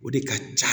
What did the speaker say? O de ka ca